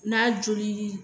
N'a jolili ye.